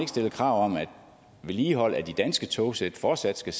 stillet krav om at vedligehold af de danske togsæt fortsat skal